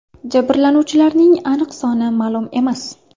Jabrlanuvchilarning aniq soni ma’lum emas.